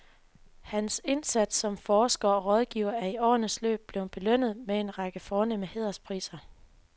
Hans indsats som forsker og rådgiver er i årenes løb blevet belønnet med en række fornemme hæderspriser.